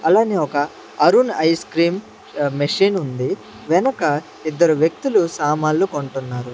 అలానే ఒక Arun ice cream అహ్ మిషన్ ఉంది వెనక ఇద్దరు వ్యక్తులు సామాన్లు కొంటున్నారు.